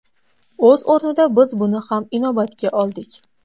O‘z o‘rnida biz buni ham inobatga oldik.